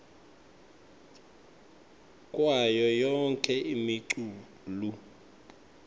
kwayo yonkhe imiculu